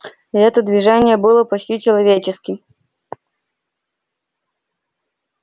это движение было почти человеческим